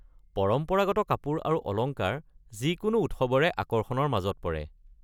পৰম্পৰাগত কাপোৰ আৰু অলংকাৰ যিকোনো উৎসৱৰে আকৰ্ষণৰ মাজত পৰে।